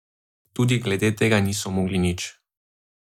Tudi glede tega niso mogli nič.